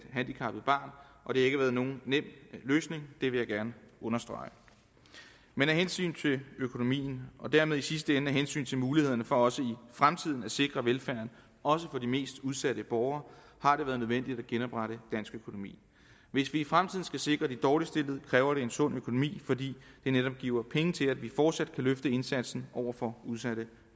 handicappet barn og det har ikke været nogen nem løsning det vil jeg gerne understrege med hensyn til økonomien og dermed i sidste ende af hensyn til mulighederne for også i fremtiden at sikre velfærden også for de mest udsatte borgere har det været nødvendigt at genoprette dansk økonomi hvis vi i fremtiden skal sikre de dårligst stillede kræver det en sund økonomi fordi det netop giver penge til at vi fortsat kan løfte indsatsen over for udsatte